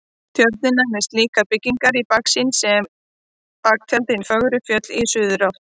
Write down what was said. Tjörnina með slíkar byggingar í baksýn og sem baktjald hin fögru fjöll í suðurátt.